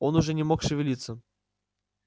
он уже не мог шевелиться